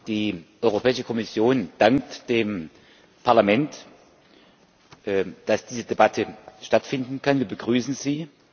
Die Europäische Kommission dankt dem Parlament, dass diese Debatte stattfinden kann, wir begrüßen sie.